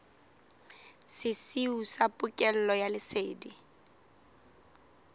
sesiu sa pokello ya lesedi